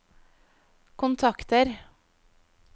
kontakter